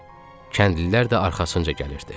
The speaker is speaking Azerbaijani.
Kəndlilər də arxasınca gəlirdi.